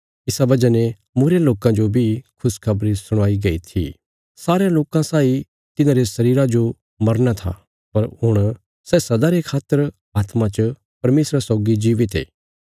इसा वजह ने मूईरे लोकां जो बी खुशखबरी सुणाई गई थी सारयां लोकां साई तिन्हांरे शरीरा जो मरना था पर हुण सै सदा रे खातर आत्मा च परमेशरा सौगी जीवित ये